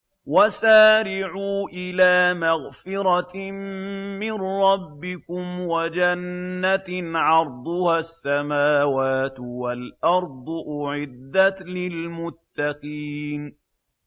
۞ وَسَارِعُوا إِلَىٰ مَغْفِرَةٍ مِّن رَّبِّكُمْ وَجَنَّةٍ عَرْضُهَا السَّمَاوَاتُ وَالْأَرْضُ أُعِدَّتْ لِلْمُتَّقِينَ